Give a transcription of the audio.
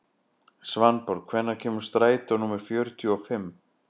Svanborg, hvenær kemur strætó númer fjörutíu og fimm?